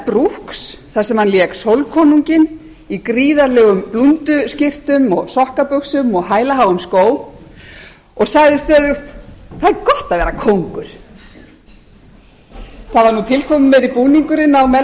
mel brooks þar sem hann lék sólkonunginn í gríðarlegum blúnduskyrtum og sokkabuxum og hælaháum skóm og sagði stöðugt það er gott að vera kóngur það var nú tilkomumeiri búningurinn á mel brooks